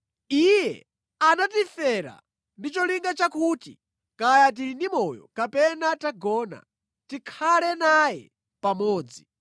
Iye anatifera ndi cholinga chakuti, kaya tili ndi moyo kapena tagona, tikhale naye pamodzi.